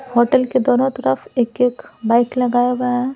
Hotel के दोनों तरफ एक-एक बाइक लगाया हुआ है।